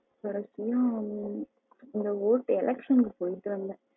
கடைசியா எங்க ஊருக்கு election க்கு போயிட்டு வந்தேன்